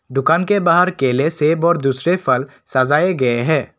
दुकान के बाहर केले सेब और दूसरे फल सजाए गए हैं।